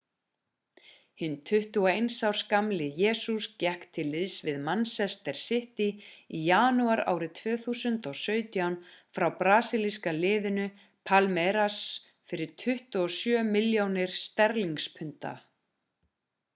hinn 21 árs gamli jesus gekk til liðs við manchester city í janúar árið 2017 frá brasílíska liðinu palmeiras fyrir 27 milljónir sterlingspunda